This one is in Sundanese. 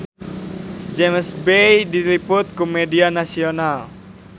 James Bay diliput ku media nasional